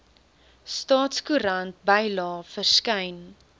staatskoerant bylae verskyn